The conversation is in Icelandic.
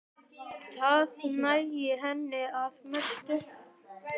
Það nægði henni að mestu.